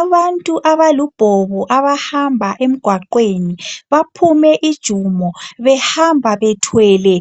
Abantu abalubhobo abahamba emgwaqweni baphume ijumo behamba bethwele